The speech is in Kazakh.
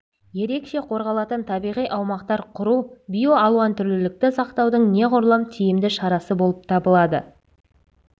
ерекше қорғалатын табиғи аумақтар құру биоалуантүрлілікті сақтаудың неғұрлым тиімді шарасы болып табылады